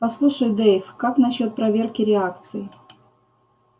послушай дейв как насчёт проверки реакций